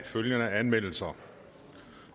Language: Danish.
følgende anmeldelser